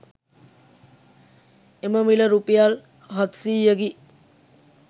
එම මිල රුපියල් හත්සීයකි